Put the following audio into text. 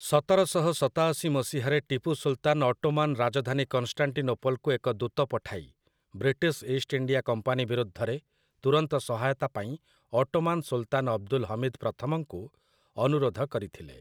ସତର ଶହ ସତାଅଶି ମସିହାରେ ଟିପୁ ସୁଲତାନ୍ ଅଟୋମାନ୍ ରାଜଧାନୀ କନଷ୍ଟାଣ୍ଟିନୋପଲ୍‌କୁ ଏକ ଦୂତ ପଠାଇ ବ୍ରିଟିଶ୍ ଇଷ୍ଟ୍ ଇଣ୍ଡିଆ କମ୍ପାନୀ ବିରୁଦ୍ଧରେ ତୁରନ୍ତ ସହାୟତାପାଇଁ ଅଟୋମାନ୍ ସୁଲତାନ୍ ଅବଦୁଲ୍ ହମିଦ୍ ପ୍ରଥମଙ୍କୁ ଅନୁରୋଧ କରିଥିଲେ ।